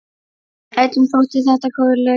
Öllum þótti þetta góð lausn.